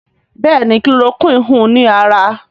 Béèni Chloroquine hùn ní ára.